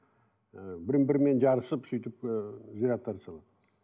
і бір бірімен жарысып сөйтіп ыыы зираттарды салады